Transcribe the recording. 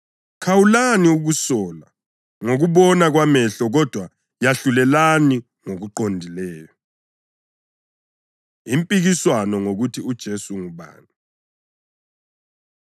Khawulani ukusola ngokubona kwamehlo kodwa yahlulelani ngokuqondileyo.” Impikiswano Ngokuthi UJesu Ungubani